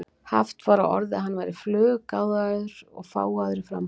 Haft var á orði að hann væri fluggáfaður og fágaður í framkomu.